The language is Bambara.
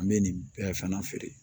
An bɛ nin bɛɛ fana feere